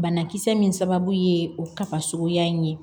Banakisɛ min sababu ye o kaba suguya in ye